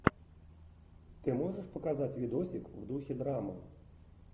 ты можешь показать видосик в духе драмы